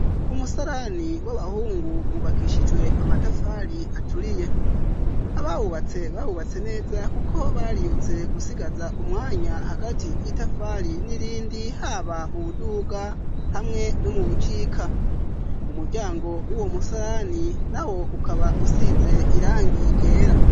Umusalani w'abahungu wubakishijwe amatafali aturiye abawubatse babubatse neza, kuko baryutse gusigaza umwanya hagati y'itafali n'irindi haba mu buduga hamwe no mu bucika umuryango w'uwo musarani na wo ukaba usize irangi era.